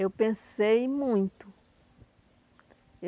Eu pensei muito.